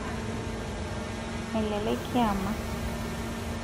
melelek kiama